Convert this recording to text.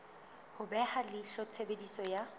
ho beha leihlo tshebediso ya